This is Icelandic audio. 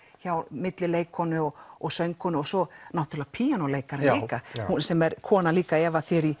milli leikkonu og og söngkonu og svo náttúrlega píanóleikari líka sem er kona líka Eva